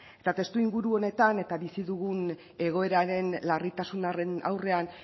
eta testuinguru honetan eta bizi dugun egoeraren larritasunaren aurrean